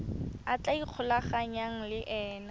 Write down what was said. a tla ikgolaganyang le ena